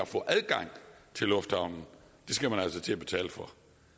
få adgang til lufthavnen skal man til at betale for